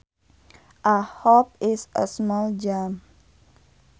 A hop is a small jump